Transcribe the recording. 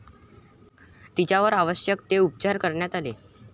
तिच्यावर आवश्यक ते उपचार करण्यात आले.